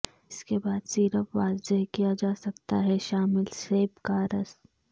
اس کے بعد سیرپ واضح کیا جا سکتا ہے شامل سیب کا رس